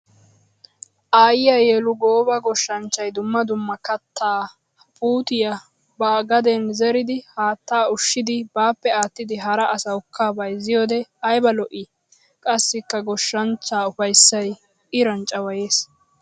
Aayiya yelu! gooba goshshanchchay dumma dumma katta puutiya ba gaden zeriddi haatta ushshiddi baappe aattidi hara asawukka bayzziyoode ayba lo'i! Qassikka goshshanchcha ufayssay iran cawayes!